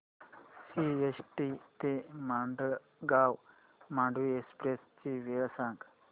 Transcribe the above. CST ते Madgaon Mandovi express ची वेळ सांगा